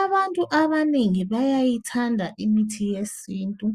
Abantu abanengi bayayithanda imithi yesintu.